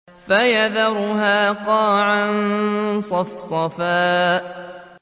فَيَذَرُهَا قَاعًا صَفْصَفًا